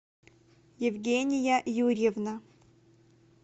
евгения юрьевна